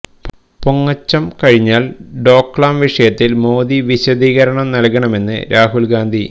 പൊങ്ങച്ചം കഴിഞ്ഞാല് ഡോക്ലാം വിഷയത്തില് മോദി വിശദീകരണം നല്കണമെന്ന് രാഹുല് ഗാന്ധി